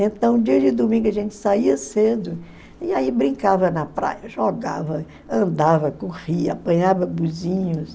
Então, dia de domingo, a gente saía cedo e aí brincava na praia, jogava, andava, corria, apanhava